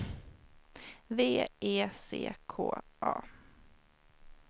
V E C K A